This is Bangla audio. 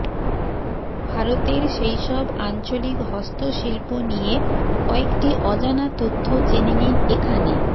ভারতের সেই সব আঞ্চলিক হস্তশিল্প নিয়ে কয়েকটি অজানা তথ্য জেনে নিন এখানে